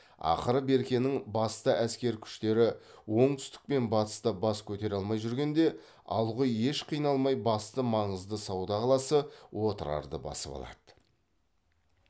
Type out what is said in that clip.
ақыры беркенің басты әскер күштері оңтүстік пен батыста бас көтере алмай жүргенде алғұй еш қиналмай басты маңызды сауда қаласы отырарды басып алады